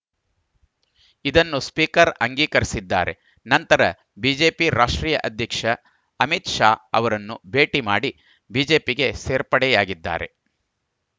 ಇದನ್ನು ಸ್ಪೀಕರ್‌ ಅಂಗೀಕರಿಸಿದ್ದಾರೆ ನಂತರ ಬಿಜೆಪಿ ರಾಷ್ಟ್ರೀಯ ಅಧ್ಯಕ್ಷ ಅಮಿತ್‌ ಶಾ ಅವರನ್ನು ಭೇಟಿ ಮಾಡಿ ಬಿಜೆಪಿಗೆ ಸೇರ್ಪಡೆಯಾಗಿದ್ದಾರೆ